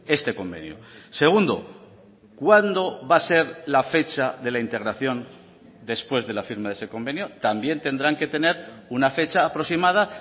este convenio segundo cuándo va a ser la fecha de la integración después de la firma de ese convenio también tendrán que tener una fecha aproximada